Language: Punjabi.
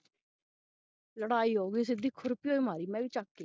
ਲੜਾਈ ਹੋ ਗਈ ਸਿੱਧੀ ਖੁਰਪੀਉ ਹੀ ਮਾਰੀ ਚੁਕ ਕੇ